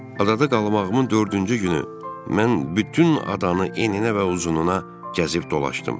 Adada qalmağımın dördüncü günü mən bütün adanı eninə və uzununa gəzib dolaşdım.